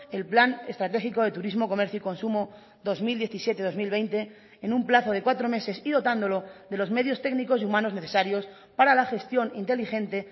el plan estratégico de turismo comercio y consumo dos mil diecisiete dos mil veinte en un plazo de cuatro meses y dotándolo de los medios técnicos y humanos necesarios para la gestión inteligente